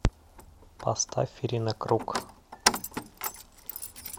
поставь ирина круг